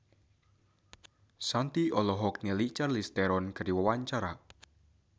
Shanti olohok ningali Charlize Theron keur diwawancara